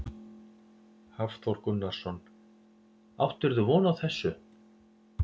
Hafþór Gunnarsson: Áttirðu von á þessu?